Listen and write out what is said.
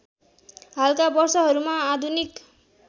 हालका वर्षहरूमा आधुनिक